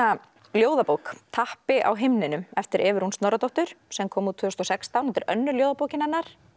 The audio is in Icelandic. ljóðabók tappi á himninum eftir Evu Rún Snorradóttur sem kom út tvö þúsund og sextán þetta er önnur ljóðabókin hennar